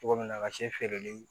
Cogo min na a ka se feereli